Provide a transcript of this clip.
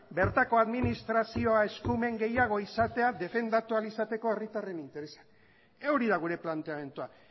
bertako administrazioa eskumen gehiago izatea defendatu ahal izateko herritarren interesa hori da gure planteamendua